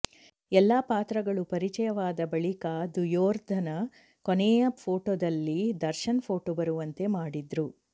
ಎಲ್ಲಾ ಪಾತ್ರಗಳು ಪರಿಚಯವಾದ ಬಳಿಕ ದುಯೋರ್ಧನ ಕೊನೆಯ ಪೋಟೋದಲ್ಲಿ ದರ್ಶನ್ ಫೋಟೋ ಬರುವಂತೆ ಮಾಡಿದ್ರು